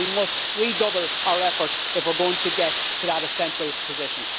We must redouble our efforts if we are going to get to that essential position.